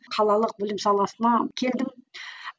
қалалық білім саласына келдім